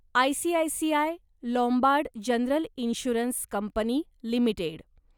ICICI Lombard General Insurance Company limited